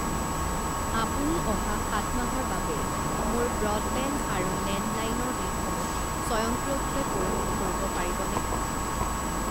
আপুনি অহা সাত মাহৰ বাবে মোৰ ব্ৰডবেণ্ড আৰু লেণ্ডলাইন ৰ বিলসমূহ স্বয়ংক্ৰিয়ভাৱে পৰিশোধ কৰিব পাৰিবনে?